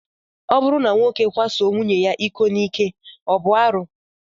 Ọ bụrụ na nwoke kwaso nwunye ya iko n'ike, ọ bụ arụ?